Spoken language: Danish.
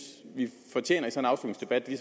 at vi